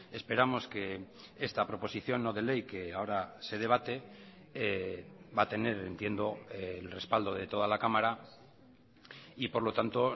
esperamos que esta proposición no de ley que ahora se debate va a tener entiendo el respaldo de toda la cámara y por lo tanto